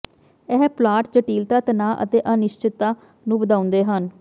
ਇਹ ਪਲਾਟ ਜਟਿਲਤਾ ਤਣਾਅ ਅਤੇ ਅਨਿਸ਼ਚਿਤਤਾ ਨੂੰ ਵਧਾਉਂਦੇ ਹਨ